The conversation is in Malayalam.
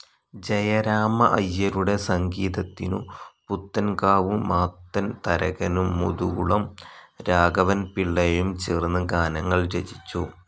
ജയരാമ അയ്യരുടെ സംഗീതത്തിനു പുത്തൻകാവ് മാത്തൻ തരകനും മുതുകുളം രാഘവൻപിള്ളയും ചേർന്ന് ഗാനങ്ങൾ രചിച്ചു.